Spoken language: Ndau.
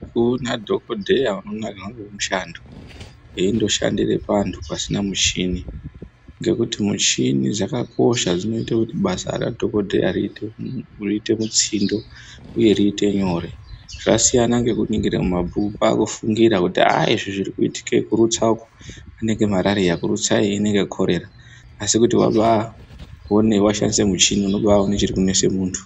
Ukaonadhokodheya anondonakirwa nomushando eindoshandire vantu pasina michini. Ndirikuti muchini dzakakosha dzinoite kuti basa radhogodheya riite mutsindo uye riite nyore, zvasiyana ngekungira mumabhuku kwaakufungira kuti ah izvi zvirikuitike kurutsako anenge marariya, kurutsayo inenge korera asi kuti wabaaone washandise muchini unobaaone chirikunese muntu.